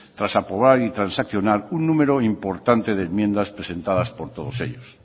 tras aprobar y transaccionar un número importante de enmiendas presentadas por todos ellos